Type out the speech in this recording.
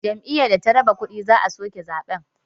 Jam'iyyar da ta raba kuɗi za a soke zaɓenta